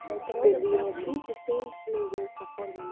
spurði Jón og tíndi steinflögur upp af borðinu.